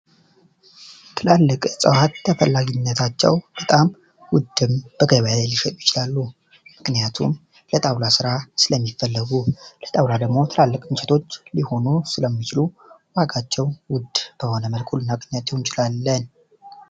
ትላልቅ እፀዋት ተፈላጊነታቸው በጣም ዉድ ሊሆኑ ይችላሉ ምክንያቱም ለጣዉላ ስራ ስለሚፈለጉ ትላለች ሊሆኑ ስለሚችሉ አቃቸው